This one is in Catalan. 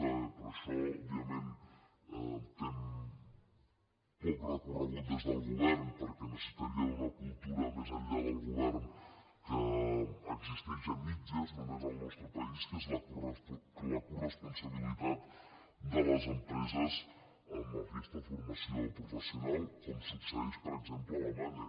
però això òbviament té poc recorregut des del govern perquè necessitaria una cultura més enllà del govern que existeix a mitges només al nostre país que és la coresponsabilitat de les empreses en aquesta formació professional com succeeix per exemple a alemanya